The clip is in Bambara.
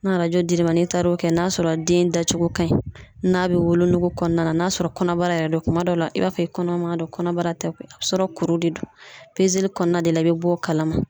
Na dir'i ma n'i taar'o kɛ n'a sɔrɔ den dacogo ka ɲi n'a be wolonugu kɔɔna na n'a sɔrɔ kɔnɔbara yɛrɛ don kuma dɔ la i b'a fɔ i kɔnɔma don, kɔnɔbara tɛ koyi sɔrɔ kuru de don. li kɔɔna de la i be b'ɔ kalama.